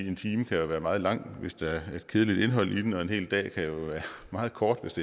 en time kan jo være meget lang hvis der er et kedeligt indhold i den og en hel dag kan være meget kort hvis